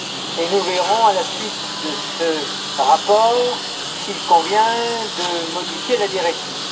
Et nous verrons, à la suite de ce rapport, s'il convient de modifier la directive.